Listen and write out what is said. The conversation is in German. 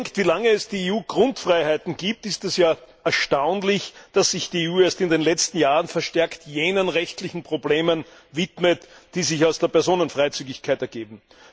Wenn man bedenkt, wie lange es die EU Grundfreiheiten gibt, ist es erstaunlich, dass sich die EU erst in den letzten Jahren verstärkt jenen rechtlichen Problemen widmet, die sich aus der Personenfreizügigkeit ergeben.